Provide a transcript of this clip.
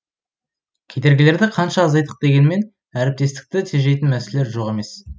кедергілерді қанша азайттық дегенмен әріптестікті тежейтін мәселелер жоқ емес